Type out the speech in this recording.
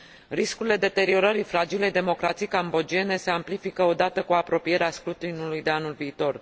Riscurile deteriorării fragilei democrații cambodgiene se amplifică odată cu apropierea scrutinului de anul viitor.